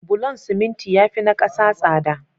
Bulon siminti yafi na 'kasa tsada